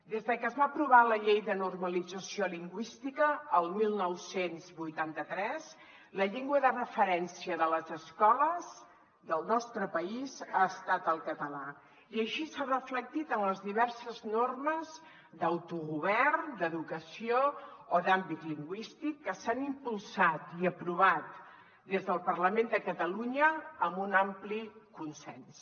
des de que es va aprovar la llei de normalització lingüística el dinou vuitanta tres la llengua de referència de les escoles del nostre país ha estat el català i així s’ha reflectit en les diverses normes d’autogovern d’educació o d’àmbit lingüístic que s’han impulsat i aprovat des del parlament de catalunya amb un ampli consens